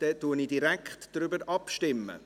Dann stimmen wir direkt darüber ab.